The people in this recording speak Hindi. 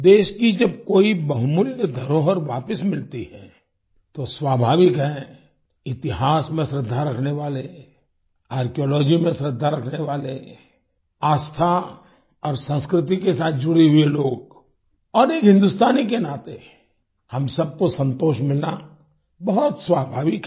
देश की जब कोई बहुमूल्य धरोहर वापस मिलती है तो स्वाभाविक है इतिहास में श्रद्धा रखने वाले आर्कियोलॉजी में श्रद्धा रखने वाले आस्था और संस्कृति के साथ जुड़े हुए लोग और एक हिन्दुस्तानी के नाते हम सबको संतोष मिलना बहुत स्वाभाविक है